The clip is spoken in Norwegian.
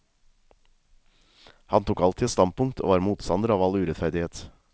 Han tok alltid et standpunkt og var motstander av all urettferdighet.